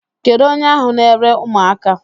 Kedụ onye ahụ na-ere ụmụaka?